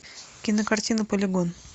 кинокартина полигон